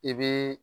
I bi